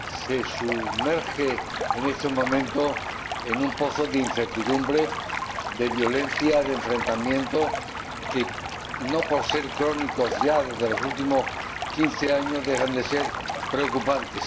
se sumerge en estos momentos en un pozo de incertidumbre, de violencia, de enfrentamientos, que no por ser crónicos ya desde los últimos quince años dejan de ser preocupantes.